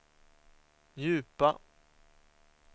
djupa